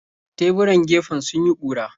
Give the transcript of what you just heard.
Teburan gefen sun yi ƙura.